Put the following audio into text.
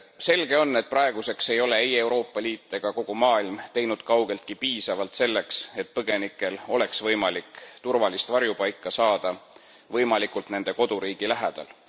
Selge on, et praeguseks ei ole ei Euroopa Liit ega ka kogu maailm teinud kaugeltki piisavalt selleks, et põgenikel oleks võimalik turvalist varjupaika saada võimalikult nende koduriigi lähedal.